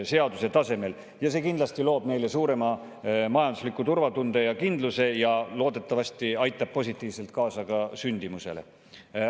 See loob neile kindlasti suurema majandusliku turvatunde ja kindluse ja loodetavasti aitab positiivselt kaasa sündimusele.